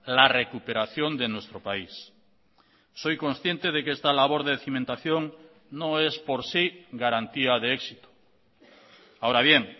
la recuperación de nuestro país soy consciente de que esta labor de cimentación no es por sí garantía de éxito ahora bien